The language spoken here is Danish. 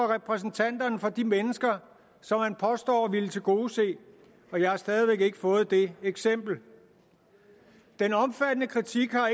repræsenterer de mennesker som man påstår at ville tilgodese og jeg har stadig væk ikke fået det eksempel den omfattende kritik har